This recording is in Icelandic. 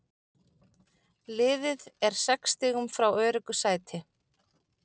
Liðið er sex stigum frá öruggu sæti.